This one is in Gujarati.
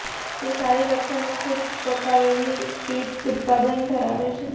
તે સારી લક્ષણો ખૂબ પકાવેલી ઈંટ ઉત્પાદન ધરાવે છે